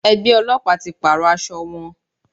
Ẹgbẹ́ Ọlọ́pàá ti pàrọ̀ aṣọ wọn.